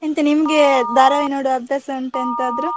ಎಂತ ನಿಮ್ಗೆ ಧಾರಾವಾಹಿ ನೋಡುವ ಅಭ್ಯಾಸ ಉಂಟಾ ಎಂತಾದ್ರೂ?